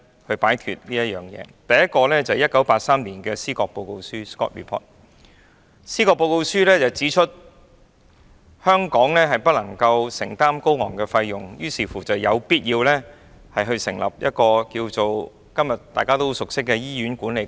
第一個實驗是1983年的《司葛報告書》，該報告書指出香港不能承擔高昂的醫療費用，於是有必要成立一個今天大家都很熟悉的醫院管理局。